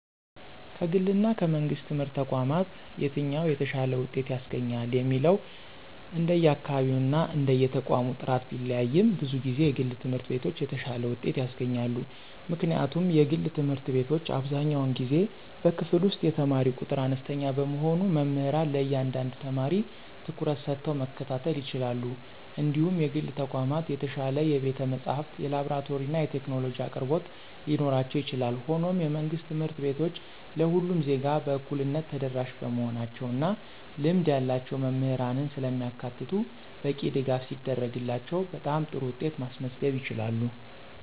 ከግልና ከመንግሥት ትምህርት ተቋማት የትኛው የተሻለ ውጤት ያስገኛል የሚለው እንደየአካባቢውና እንደየተቋሙ ጥራት ቢለያይም፣ ብዙ ጊዜ የግል ትምህርት ቤቶች የተሻለ ውጤት ያስገኛሉ። ምክንያቱም የግል ትምህርት ቤቶች አብዛኛውን ጊዜ በክፍል ውስጥ የተማሪ ቁጥር አነስተኛ በመሆኑ መምህራን ለእያንዳንዱ ተማሪ ትኩረት ሰጥተው መከታተል ይችላሉ እንዲሁም የግል ተቋማት የተሻለ የቤተ-መጻሕፍት፣ የላብራቶሪና የቴክኖሎጂ አቅርቦቶች ሊኖራቸው ይችላል። ሆኖም፣ የመንግሥት ትምህርት ቤቶች ለሁሉም ዜጋ በእኩልነት ተደራሽ በመሆናቸው እና ልምድ ያላቸው መምህራንን ስለሚያካትቱ በቂ ድጋፍ ሲደረግላቸው በጣም ጥሩ ውጤት ማስመዝገብ ይችላሉ።